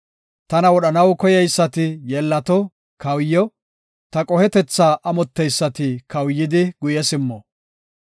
Tana wodhanaw koyeysati yeellato, kawuyo; Ta qohetetha amotteysati kawuyidi guye simmo.